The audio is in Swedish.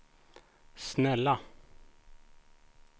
snälla